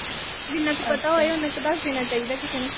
ਜਿੰਨਾ ਕੁ ਪਤਾ ਹੋਏ ਓਨਾ ਕੁ ਦੱਸ ਦੇਣਾ ਚਾਹੀਦਾ ਕਿਸੇ ਨੂੰ।